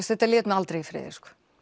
þetta lét mig aldrei í friði